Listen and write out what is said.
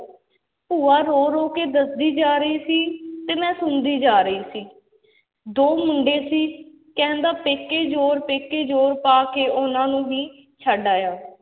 ਭੂਆ ਰੋ-ਰੋ ਕੇ ਦੱਸਦੀ ਜਾ ਰਹੀ ਸੀ, ਤੇ ਮੈਂ ਸੁਣਦੀ ਜਾ ਰਹੀ ਸੀ ਦੋ ਮੁੰਡੇ ਸੀ, ਕਹਿੰਦਾ ਪੇਕੇ ਜ਼ੋਰ ਪੇਕੇ ਜ਼ੋਰ ਪਾ ਕੇ ਉਹਨਾਂ ਨੂੰ ਵੀ ਛੱਡ ਆਇਆ